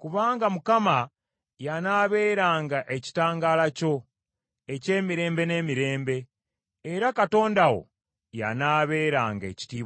Kubanga Mukama y’anaabeeranga ekitangaala kyo eky’emirembe n’emirembe, era Katonda wo y’anaabeeranga ekitiibwa kyo.